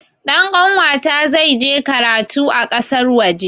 Ɗan kanwata zai je karatu a ƙasar waje